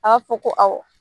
Aa fɔ ko awɔ